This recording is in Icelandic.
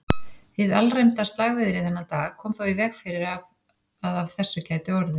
Hið alræmda slagviðri þennan dag kom þó í veg fyrir að af þessu gæti orðið.